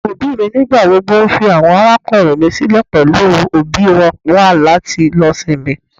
Àwọn òbí mi nígbà gbogbo nfi àwọn arákùnrin mi sílẹ pẹlú òbí wọn wá láti lo ìsinmi.